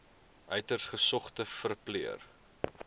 uiters gesogde verpleër